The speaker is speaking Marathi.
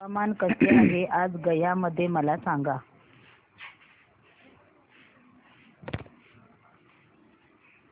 हवामान कसे आहे आज गया मध्ये मला सांगा